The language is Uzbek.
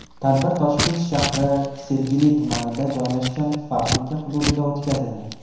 Tadbir Toshkent shahri Sergeli tumanida joylashgan fabrika hududida o‘tkazildi.